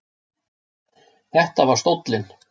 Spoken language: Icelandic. Þetta var stóllinn.